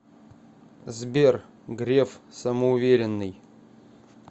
сбер греф самоуверенный